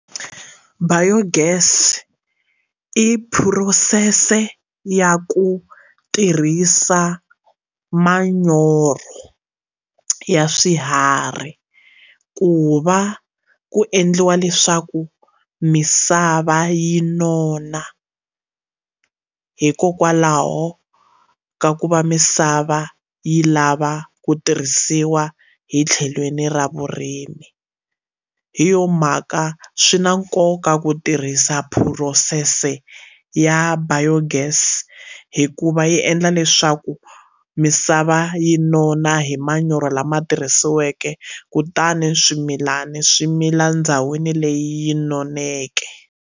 Biogas i phurosese ya ku tirhisa manyoro ya swiharhi ku va ku endliwa leswaku misava yi nona hikokwalaho ka ku va misava yi lava ku tirhisiwa hi tlhelweni ra vurimi hi yo mhaka swi na nkoka ku tirhisa phurosese ya Biogas hikuva yi endla leswaku misava yi nona hi manyoro lama tirhisiweke kutani swimilani swi mila ndhawini leyi noneke.